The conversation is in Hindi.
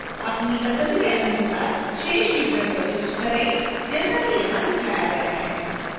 अपनी पसंद के अनुसार शेष विवरण प्रविष्ट करें जैसा कि यहां दिखाया गया है